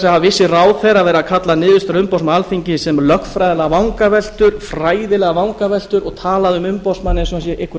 vissir ráðherrar verið að kalla niðurstöður umboðsmanns alþingis lögfræðilegar vangaveltur fræðilegar vangaveltur og talað um umboðsmann eins og hann sér einhver